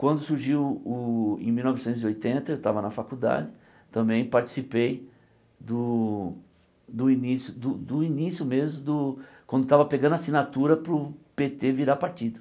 Quando surgiu, o em mil novecentos e oitenta, eu estava na faculdade, também participei do do início do do início mesmo do, quando estava pegando assinatura para o Pê Tê virar partido.